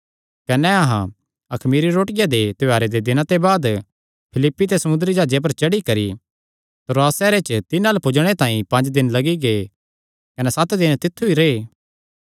कने अहां अखमीरी रोटिया दे त्योहारे दे दिनां ते बाद फिलिप्पी ते समुंदरी जाह्जे पर चढ़ी करी त्रोआस सैहरे च तिन्हां अल्ल पुज्जणे तांई पंज दिन लग्गी गै कने सत दिन तित्थु ई रैह्